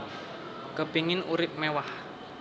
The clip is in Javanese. Kepingin urip mewah